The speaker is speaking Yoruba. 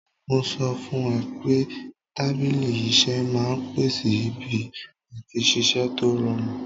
Mo sọ fún ẹ pé tábìlì iṣẹ́ máa ń pèsè ibi àti ṣiṣẹ́ tó rọrùn